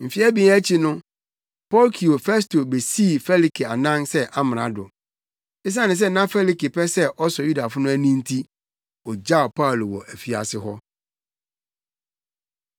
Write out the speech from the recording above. Mfe abien akyi no Porkio Festo besii Felike anan mu sɛ amrado. Esiane sɛ na Felike pɛ sɛ ɔsɔ Yudafo no ani no nti, ogyaw Paulo wɔ afiase hɔ.